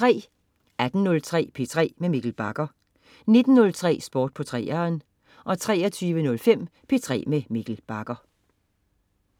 18.03 P3 med Mikkel Bagger 19.03 Sport på 3'eren 23.05 P3 med Mikkel Bagger